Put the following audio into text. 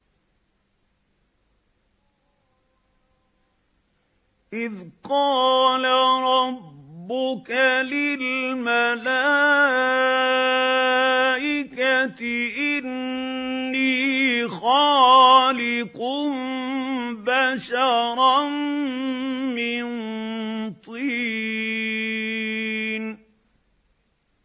إِذْ قَالَ رَبُّكَ لِلْمَلَائِكَةِ إِنِّي خَالِقٌ بَشَرًا مِّن طِينٍ